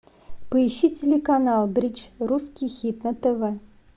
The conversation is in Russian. поищи телеканал бридж русский хит на тв